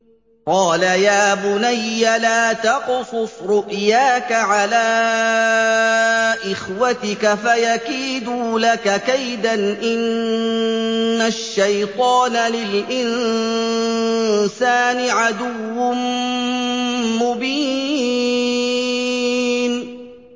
قَالَ يَا بُنَيَّ لَا تَقْصُصْ رُؤْيَاكَ عَلَىٰ إِخْوَتِكَ فَيَكِيدُوا لَكَ كَيْدًا ۖ إِنَّ الشَّيْطَانَ لِلْإِنسَانِ عَدُوٌّ مُّبِينٌ